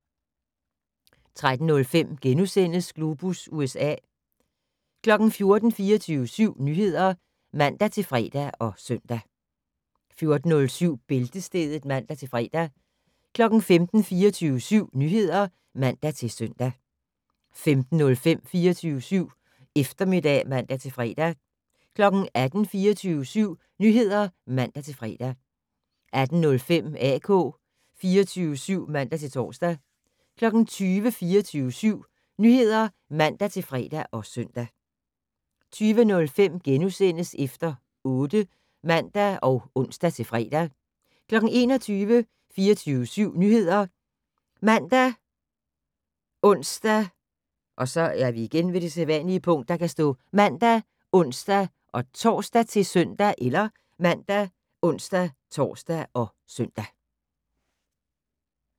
13:05: Globus USA * 14:00: 24syv Nyheder (man-fre og søn) 14:05: Bæltestedet (man-fre) 15:00: 24syv Nyheder (man-søn) 15:05: 24syv Eftermiddag (man-fre) 18:00: 24syv Nyheder (man-fre) 18:05: AK 24syv (man-tor) 20:00: 24syv Nyheder (man-fre og søn) 20:05: Efter 8 *(man og ons-fre) 21:00: 24syv Nyheder ( man, ons-tor, -søn)